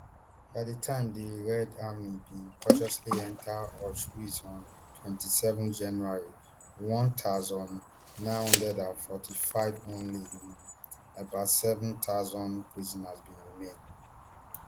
by di time di red army bin cautiously enta auschwitz on twenty-seven january one thousand, nine hundred and forty-five only um about seven thousand prisoners bin remain